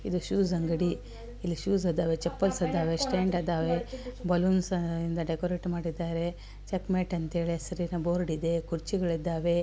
ಇದು ಶೂಸ್ ಅಂಗಡಿ ಇಲ್ಲಿ ಶೂಸ್ ಅದಾವೆ ಚಪ್ಪಲ್ಸ ಅದಾ ವೆ ಸ್ಟ್ಯಾಂಡ ಅದಾವೆ ಬಲೂನ್ ಇಂದ ಡೆಕೊರೇಟ್ ಮಾಡಿದರೆ ಚೆಕ್ಕಮೆಟ ಅಂತ ಹೆಳಿ ಹೆಸರಿನ್ ಬೋರ್ಡ್ ಇದೆ ಕುರ್ಚಿಗಳು ಇದ್ದಾವೆ.